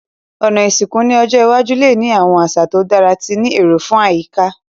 Òná ìsìnkú ni ọjọ́ iwájú le ni àwon àsà to dára ti ni éró fun àyíká